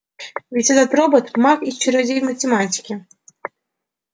ведь этот робот маг и чародей в математике